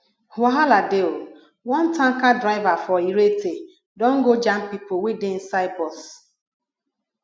wahala dey o one tanker driver for irete don go jam pipo wey dey inside bus